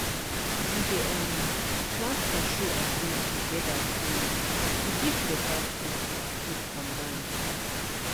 we dey um plant cashew and beans together to to give beta food and fruit combine